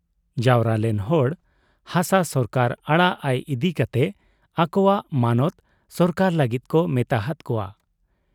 ᱡᱟᱣᱨᱟᱞᱮᱱ ᱦᱚᱲ ᱦᱟᱥᱟ ᱥᱚᱨᱠᱟᱨ ᱟᱲᱟᱜ ᱟᱭ ᱤᱫᱤ ᱠᱟᱛᱮ ᱟᱠᱚᱣᱟᱜ ᱢᱚᱱᱚᱛ ᱥᱚᱨᱠᱟᱨ ᱞᱟᱹᱜᱤᱫ ᱠᱚ ᱢᱮᱛᱟ ᱦᱟᱫ ᱠᱚᱣᱟ ᱾